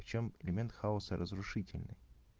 в чем элемент хаоса разрушительной